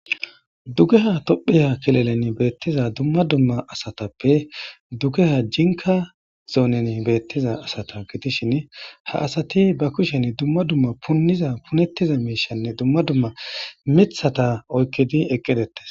Dugeha tophiya kilelen beettiza dumma dumma asatappe dugeha jinka zoonen beettiza asata gidishin ha asati ba kushen dumma dumma punniza punettiza miishanne dumma dumma mithata oykkidi eqqidetes.